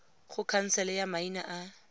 go khansele ya maina a